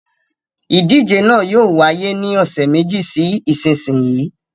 Ìdíje náà yóò wáyé ní ọ̀sẹ̀ méjì sí ìsinsìnyí.